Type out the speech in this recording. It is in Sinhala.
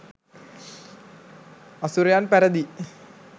අසුරයන් පැරැදී